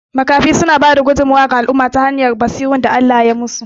Makafi suna bada tasu gudummuwar ga al'umma ta hanyar basirun da Allah yai musu